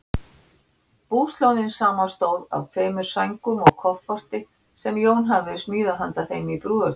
Búslóðin samanstóð af tveimur sængum og kofforti, sem Jón hafði smíðað handa þeim í brúðargjöf.